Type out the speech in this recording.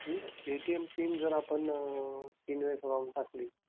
ATM PIN जर आपण तीन वेळा wrong टाकली.